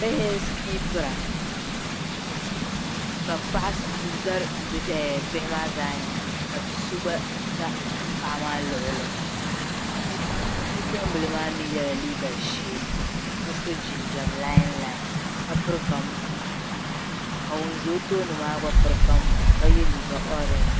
bihi n-sikiipira ka paɣa za ɛɛh bihi maa zaa nyaaŋga ka bi' so gba za paɣa maa nyaaŋga bipuɣimbila maa mi yɛla liiga ʒee ka so jinjam lainlain ka piri kambuu ka ŋun za o tooni maa mi piri kambuu ka ye liiga ɔrenji